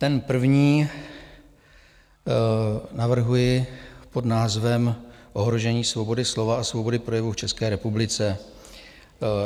Ten první navrhuji pod názvem Ohrožení svobody slova a svobody projevu v České republice.